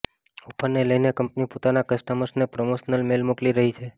ઓફરને લઈને કંપની પોતાના કસ્ટમર્સને પ્રમોશનલ મેલ મોકલી રહી છે